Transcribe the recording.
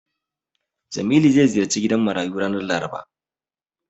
Jamilu zai ziyarci gidan marayu ranar Laraba.